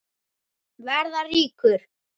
Verða ríkur.